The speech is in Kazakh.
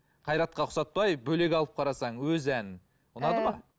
қайратқа ұқсатпай бөлек алып қарасаң өз әнін ұнады ма ііі